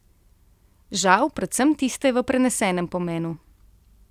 Žal predvsem tiste v prenesenem pomenu.